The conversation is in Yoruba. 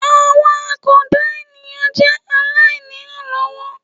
Àwọn àkàndá ènìyàn jẹ́ aláìnírànlọ́wọ́